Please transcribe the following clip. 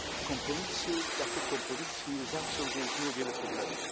Kompromisy, jak to kompromisy, nie zawsze rozwiązują wiele problemów.